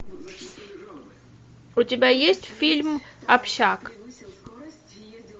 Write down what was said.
у тебя есть фильм общак